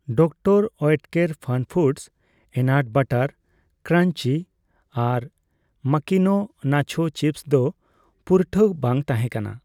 Doctor Oetker FunFoods peanut ᱵᱟᱨᱟᱴ crunchy ᱟᱨ Makino nacho chips ᱫᱚ ᱯᱩᱨᱴᱷᱟᱹ ᱵᱟᱝ ᱛᱟᱦᱮᱸᱠᱟᱱᱟ ᱾